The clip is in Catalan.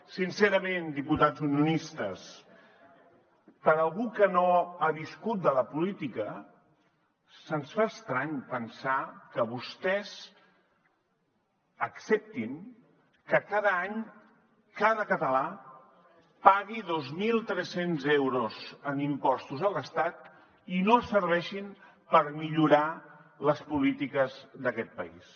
sincerament diputats unionistes per a algú que no ha viscut de la política se’ns fa estrany pensar que vostès acceptin que cada any cada català pagui dos mil tres cents euros en impostos a l’estat i no serveixin per millorar les polítiques d’aquest país